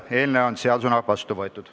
Eelnõu on seadusena vastu võetud.